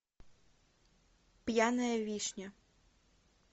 пьяная вишня